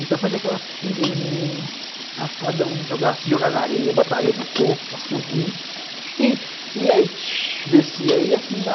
Então eu fazia aquela fila de menino, cada um se jogava na areia, botaria no corpo para subir e aí descia.